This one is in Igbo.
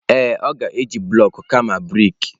Ee, ọ ga-eji bụlọk kama brik.